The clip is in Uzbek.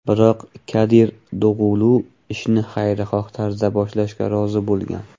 Biroq Kadir Dog‘ulu ishni xayrixoh tarzda boshlashga rozi bo‘lgan.